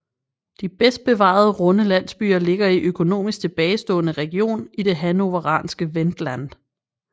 De bedst bevarede runde landsbyer ligger i økonomisk tilbagestående region i det hannoveranske Wendland